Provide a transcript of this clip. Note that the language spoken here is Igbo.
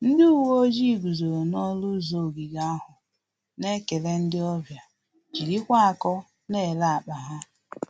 Ndị uwe ojii guzoro n'ọṅụ ụzọ ogige ahụ, na-ekele ndị ọbịa jirikwa akọ na-ele akpa ha